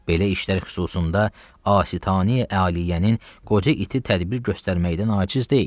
Belə işlər xüsusunda Asitaneyi-Aliyyənin qoca iti tədbir göstərməkdən aciz deyil.